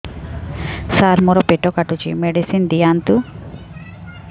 ସାର ମୋର ପେଟ କାଟୁଚି ମେଡିସିନ ଦିଆଉନ୍ତୁ